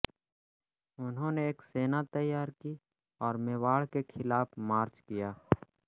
उन्होंने एक सेना तैयार की और मेवाड़ के खिलाफ मार्च किया